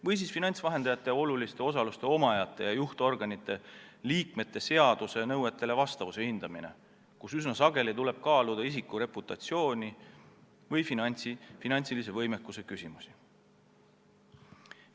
Ka hindame finantsvahendajate oluliste osaluste omajate ja juhtorganite liikmete vastavust seaduse nõuetele, kusjuures üsna sageli tuleb kaaluda isiku reputatsiooni või finantsilise võimekuse küsimusi.